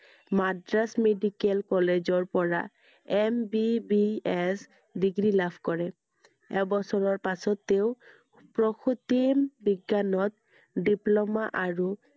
Madras medical college ৰ পৰা MBBS degree লাভ কৰে। এবছৰৰ পাছত তেওঁ প্ৰসূতিবিজ্ঞানত diploma আৰু